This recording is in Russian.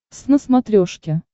твз на смотрешке